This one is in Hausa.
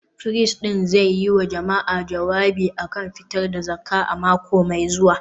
firist ɗin zai yi wa jama’a jawabi a kan fa’idar fitar da zakka a mako mai zuwa